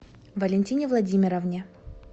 валентине владимировне